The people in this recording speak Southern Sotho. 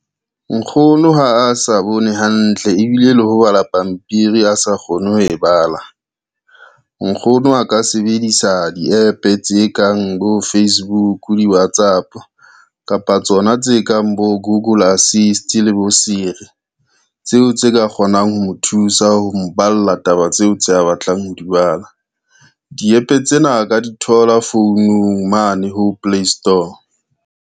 Nkgono ha a sa bone hantle ebile le ho bala pampiri a sa kgone ho e bala. Nkgono a ka debedisa di-app tse kang bo Facebook, di-Whatsapp kapa tsona tse kang bo Google assist le bo Siri, tseo tse ka kgonang ho mo thusa ho mo balla taba tseo tse a batlang ho di bala. Di-app tsena a ka di thola founung mane ho Play Store.